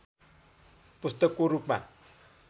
पुस्तकको रूपमा